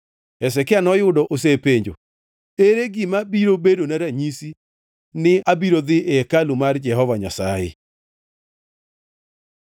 Hezekia noyudo osepenjo, “Ere gima biro bedona ranyisi ni abiro dhi e hekalu mar Jehova Nyasaye?”